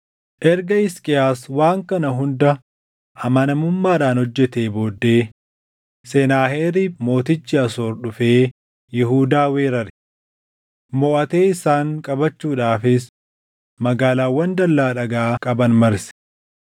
Erga Hisqiyaas waan kana hunda amanamummaadhaan hojjetee booddee Senaaheriib mootichi Asoor dhufee Yihuudaa weerare. Moʼatee isaan qabachuudhaafis magaalaawwan dallaa dhagaa qaban marse.